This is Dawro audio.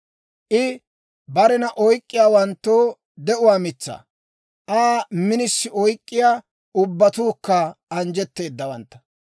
I barena oyk'k'iyaawanttoo de'uwaa mitsaa; Aa minisi oyk'k'iyaa ubbatuukka anjjetteedawantta.